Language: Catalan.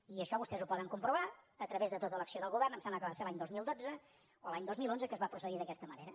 i això vostès ho poden comprovar a través de tota l’acció del govern em sembla que va ser l’any dos mil dotze o l’any dos mil onze que es va procedir d’aquesta manera